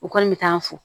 U kɔni bɛ taa an fo